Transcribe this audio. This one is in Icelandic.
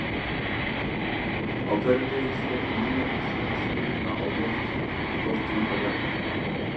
Á hverjum degi skella milljónir svona steina á lofthjúpi jarðar.